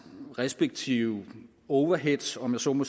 respektive overheads om jeg så må